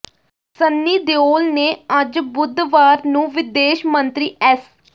ਸੰਨੀ ਦਿਓਲ ਨੇ ਅੱਜ ਬੁਧਵਾਰ ਨੂੰ ਵਿਦੇਸ਼ ਮੰਤਰੀ ਐਸ